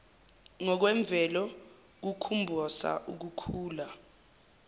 ngokwemvelo kukhumbosa ukukhula